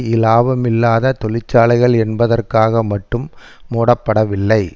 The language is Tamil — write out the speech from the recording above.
இலாபமில்லாத தொழிற்சாலைகள் என்பதற்காக மட்டும் முடப்படவில்லை